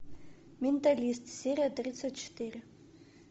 менталист серия тридцать четыре